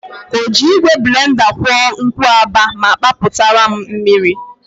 Ọ ji igwe blenda kwụọ nkwụaba ma papụtara m mmiri?